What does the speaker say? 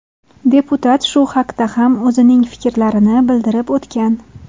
Deputat shu haqda ham o‘zining fikrlarini bildirib o‘tgan.